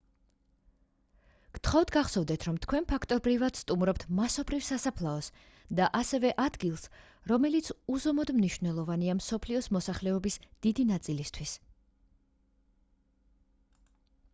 გთხოვთ გახსოვდეთ რომ თქვენ ფაქტობრივად სტუმრობთ მასობრივ სასაფლაოს და ასევე ადგილს რომელიც უზომოდ მნიშვნელოვანია მსოფლიოს მოსახლეობის დიდი ნაწილისთვის